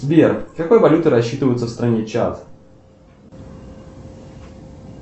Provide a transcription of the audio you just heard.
сбер какой валютой рассчитываются в стране чад